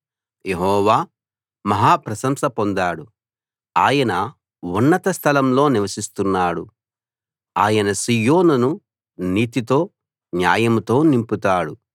యెహోవా మహా ప్రశంస పొందాడు ఆయన ఉన్నత స్థలంలో నివసిస్తున్నాడు ఆయన సీయోనును నీతితో న్యాయంతో నింపుతాడు